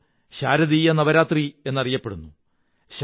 ഇത് ശാരദീയ നവരാത്രി എന്നറിയപ്പെടുന്നു